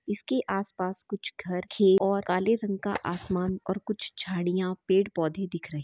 इसके आसपास कुछ घर खेत और काले रंग का आसमान और कुछ झाडिया पेड़ - पौधे दिख रहे--